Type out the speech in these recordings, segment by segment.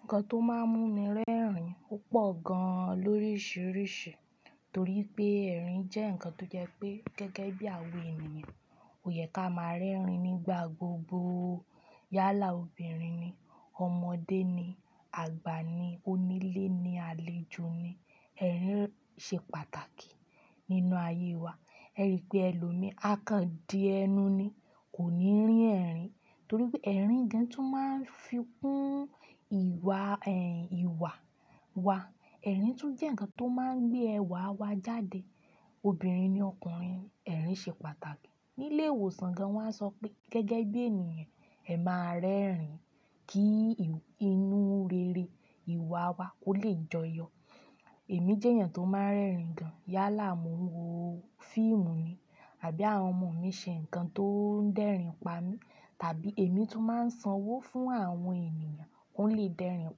Nǹkan tó máa ń mú mi rẹ́rìn pọ̀ gan-an lóríṣiríṣi torí pé ẹ̀rín jẹ́ ǹkan tó jẹ́ pé gẹ́gẹ́ bí àwọn ènìyàn, òyẹ kí á máa rẹ́rìn nígbà gbogbo. Yálà obìnrin ni, ọmọdé ni, àgbà ni, onílé ni, àlejò ni, ẹ̀rín ṣe pàtàkì nínú ayé wa. Ẹ rí pé ẹlòmíì á kan di ẹnu ni kò ní rí ẹ̀rìn torí pé ẹ̀rín ni tó máa ń fi kún ìwà, ẹ̀, ìwà wa. Ẹ̀rín tún jẹ́ ǹkan tó máa ń gbé ẹwà wa jáde. Obìnrin ni ọkùnrin, ẹ̀rín ṣe pàtàkì. Nílé ìwòsàn gan, wọ́n á sọ pé gẹ́gẹ́ bí ènìyàn, ẹ máa rẹ́rìn kí inú rere ìwà wa kó lè joyọ. Èmi jẹ́ èèyàn tó máa ń rẹ́rìn gan. Yálà mo ń wo fíìmù ni àbí àwọn ọmọ mi ṣe ǹkan tó ń dẹ́rìn pa mí tàbí èmi tún máa ń sanwó fún àwọn ènìyàn kó lè dẹ́rìn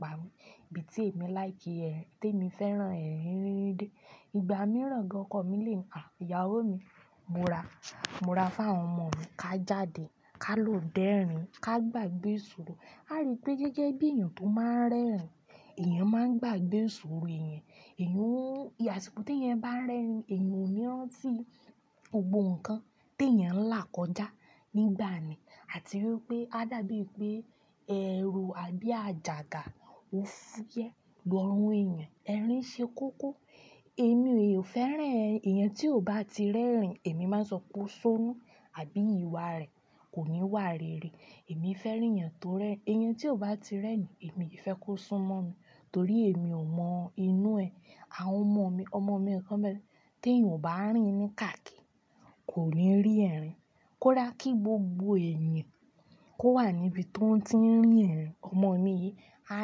pa mi. Bí tí èmi láì kí ẹ, tí èmi fẹ́ran ẹ rí n dé. Ìgbà mìíràn gan okọ́ mi lè wa, Ìyàwó mi, mo ra, mo ra fún àwọn ọmọ mi ká jáde, ká lò dẹ́rìn, ká gbàgbé ìsòro." A rí pé gẹ́gẹ́ bí èèyàn tó máa ń rẹ́rìn, èèyàn máa ń gbàgbé ìsòro èèyàn. Ẹ̀yàn o, ìyàsíkò tí ẹ̀eyan bá rẹ́rìn, èèyàn ò ní rán tí gbogbo ǹkan tí ẹ̀yàn ń là kọjá nígbà yen àti wípé á dàbí pé ẹ̀rù àbí àjàgà ó fúyẹ́ lọrun ẹ̀yàn. Ẹ̀rín ṣe kókó. Èmi ò fẹ́ràn èèyàn tí ò bá ti rẹ́rìn. Èmi máa sọ po sónú àbí ìwà rẹ̀ kò ní wà rere. Èmi fẹ́ rí èèyàn tó rẹ́rin, èèyàn tí ò bá ti rẹ́rìn, èmi ki fẹ́ kó súnmọ́ mi torí èmi ò mọ inú ẹ. Àwọn ọmọ mi, ọmọ mi kan nbẹ́ẹ̀ t'èèyàn ò bá rìn ní káàkin. Kò ní rín ẹ̀rìn. Kódà kí gbogbo ẹ̀yàn kó wà níbi tó ń tí ń rín ẹ̀rìn. Ọmọ mi yìí, á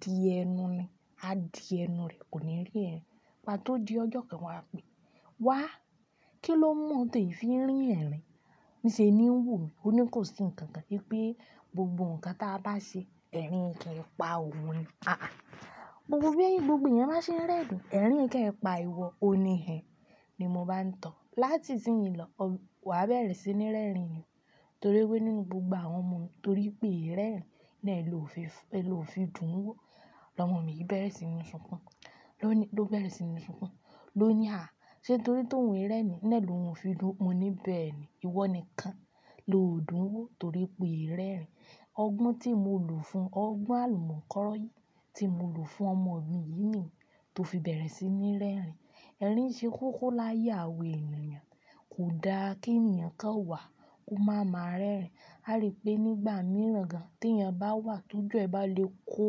di ẹnu ni, á di ẹnu rẹ̀, kò ní rí ẹ̀rìn. Ìgbá tí ó di ọjọ́ kan wá pé, "Wá, kí ló mu ọ̀ tó ì fi rín ẹ̀rìn?" Níṣe ni ó wò mí. Ó ní kò sí ǹkan kan gẹ́gẹ́ bí gbogbo ǹkan tí a bá ṣe, ẹ̀rín kì í pa òun ni. Àà, gbogbo bí ẹni, gbogbo èèyàn bá ṣe ń rẹ́rìn, ẹ̀rín kì í pa ìwọ, ó ni ẹ. Ni mo bá ńi too. Láti ìsínyi lọ, wàá bẹ̀rẹ̀ sí ní rẹ́rìn nì torí pé nínú gbogbo àwọn ọmọ mi torí pé e rẹ́rìn náà ló fi dùn ún wó. Ọmọ mi yìí bẹ̀rẹ̀ sí ní sunkún. Lóní, ló bẹ̀rẹ̀ sí ní sunkún. Lo ní, "À! Ṣé torí tó ń rẹ́rìn ni ẹ ló fi dùn ún?" Mo ní, "Bẹ́ẹ̀ ni. Ìwọ nìkan lo dùn ún wó torí pé e rẹ́rìn." Ọgbọ́n tí mo lu fún, ọgbọ́n àlùmọ́kọ́rọ́ yìí tí mo lu fún ọmọ mi yìí ni tó fi bẹ̀rẹ̀ sí ní rẹ́rìn. Ẹ̀rín ṣe kókó láyé àwọn ènìyàn. Kò dá kí ènìyàn kan wà kó máa ma rẹ́rìn. A rí pé nígbà mìíràn gan t'èèyàn bá wà tún jẹ́ ẹ bá le kó,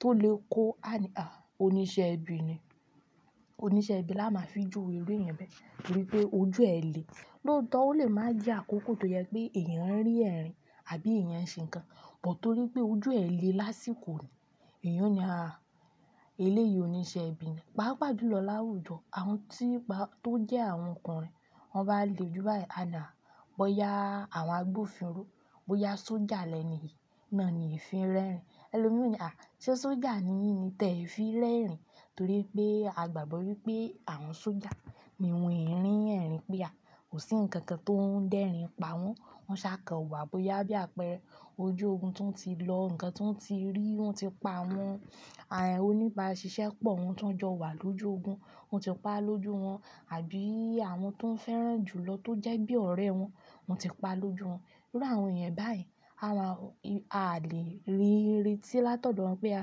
tó lè kó, àní, à! Oníṣẹ́ ibi ni. Oníṣẹ́ ibi la máa fi jùwe irú èyàn bẹ́ẹ̀ torí pé ojú ẹ le. Lóòótọ́ ó lè máa jé àkókò tó jẹ pé èèyàn ń rín ẹ̀rìn àbí èèyàn ń ṣe ǹkan, but torí pé ojú ẹ le lásìkò ni, èèyàn ní, "À! Eléyìí oníṣẹ́ ibi ni." Pàápàá dúró láwùjọ, àwọn tí pa, tó jẹ́ àwọn ọkùnrin, wọ́n bá le jù báyìí. "À ni á, bóyá àwọn agbófinró, bóyá sójà lẹní yi, náà ni ì fi rẹ́rìn." Ẹlòmíì ó ní, "À! Ṣé sójà ni yìn ni tẹ̀ fi rẹ́rìn?" Torí pé a gbàgbọ́ wípé àwọn sójà ni wọ́n ì rín ẹ̀rìn péa. Kò sí ǹkan kan tó ń dẹ́rìn pa wọ́n. Wọ́n ṣàkàn wa, bóyá bí àpẹẹrẹ ojú ogun tó ń ti lọ, ǹkan tó ń ti rí wọ́n ti pa awọ́n. À, oníbàáṣiṣẹ́ pọ̀ wọ́n tó ń jọ wà lójú ogun, wọ́n ti pa lójú wọn. Àbí àwọn tó ń fẹ́ràn jùlọ tó jẹ́ bí ọ̀rẹ́ wọn, wọ́n ti pa lójú wọn. Irú àwọn ẹ̀yàn báyen, a máa, a lè rí i retí lát'ọ̀dọ̀ won pé, à!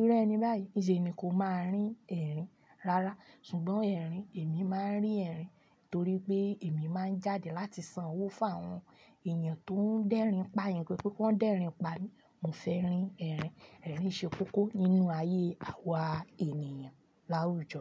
Irú eni báyìí, níṣe mi kò máa rí ẹ̀rìn rárá. Ṣùgbọ́n ẹ̀rìn, èmi máa ń rín ẹ̀rìn torí pé èmi máa ń jáde láti sanwó fún àwọn èèyàn tó ń dẹ́rìn pa'yan pe kí wọ́n dẹ́rìn pa mí. Mo fẹ́ rín ẹ̀rìn. Ẹ̀rín ṣe kókó nínú ayé àwa ènìyàn láwùjọ.